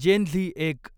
जेन Z एक